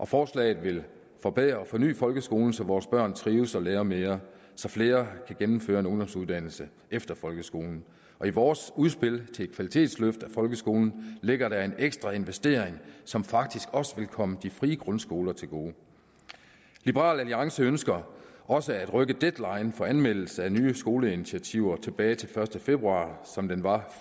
forslaget vil forbedre og forny folkeskolen så vores børn trives og lærer mere så flere kan gennemføre en ungdomsuddannelse efter folkeskolen i vores udspil til et kvalitetsløft af folkeskolen ligger der en ekstra investering som faktisk også vil komme de frie grundskoler til gode liberal alliance ønsker også at rykke deadline for anmeldelse af nye skoleinitiativer tilbage til den første februar som den var